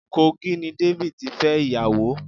Kogi ni David tí fẹ́ ìyàwó.